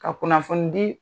Ka kunnafoni di